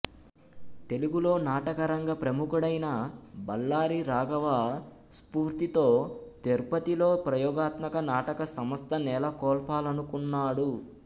తెలుగులో నాటక రంగ ప్రముఖుడైన బళ్ళారి రాఘవ స్ఫూర్తితో తిరుపతిలో ప్రయోగాత్మక నాటక సంస్థ నెలకొల్పాలనుకున్నాడు